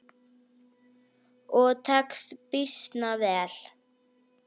Og tekst býsna vel.